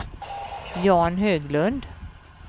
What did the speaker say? Jan Höglund